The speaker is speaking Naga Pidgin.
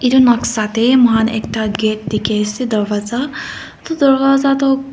itu noksa teh muhan ekta gate dikhi ase doorwaja itu doorwaja toh.